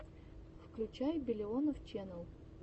включай биллионов ченел